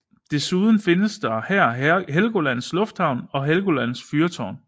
Desuden findes her Helgolands lufthavn og Helgolands fyrtårn